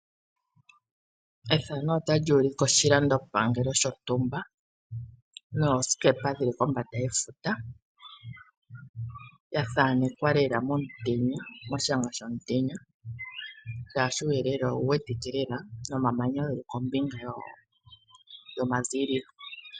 Ethano ota li ulike oshilandopangelo shontumba noosikepa dhili kombanda yefuta, yathanekwa lela momutenya moshanga shomutenya, shaashi uuyelele owu wetike lela nomamanya geli kombinga yomaziililo.